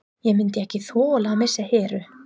Ég myndi ekki þola að missa Heru.